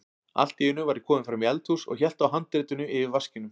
Allt í einu var ég kominn fram í eldhús og hélt á handritinu yfir vaskinum.